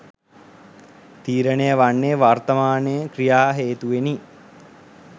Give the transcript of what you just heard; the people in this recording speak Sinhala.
තීරණය වන්නේ වර්තමානය ක්‍රියා හේතුවෙනි